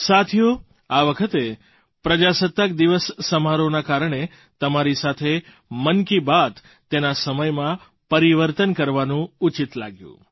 સાથીઓ આ વખતે પ્રજાસત્તાક દિવસ સમારોહના કારણે તમારી સાથે મન કી બાત તેના સમયમાં પરિવર્તન કરવાનું ઉચિત લાગ્યું